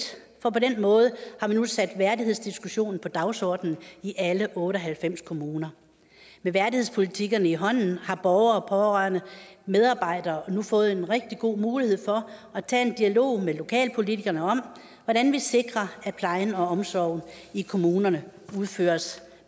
for på den måde har vi nu sat værdighedsdiskussionen på dagsordenen i alle otte og halvfems kommuner med værdighedspolitikkerne i hånden har borgere pårørende og medarbejdere nu fået en rigtig god mulighed for at tage en dialog med lokalpolitikerne om hvordan vi sikrer at plejen og omsorgen i kommunerne udføres